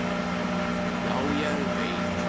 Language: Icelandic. """Já, ég veit"""